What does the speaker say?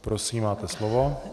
Prosím, máte slovo.